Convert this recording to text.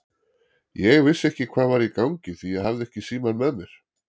Ég vissi ekki hvað var í gangi því ég hafði ekki símann með mér.